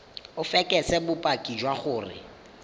o fekese bopaki jwa gore